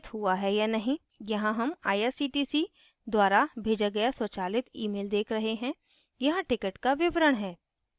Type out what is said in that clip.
यहाँ हम irctc द्वारा भेजा गया स्वचालित automated email देख रहे हैं यहाँ ticket का विवरण है